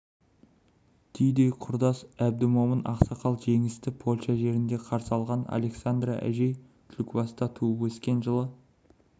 түйедей құрдас әбдімомын ақсақал жеңісті польша жерінде қарсы алған александра әжей түлкібаста туып өскен жылы